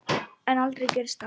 En aldrei gerist það.